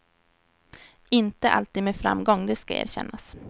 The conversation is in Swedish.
Inte alltid med framgång, det ska erkännas.